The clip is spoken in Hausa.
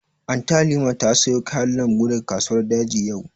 Anty Halima ta sayo kayan lambu daga kasuwar daji yau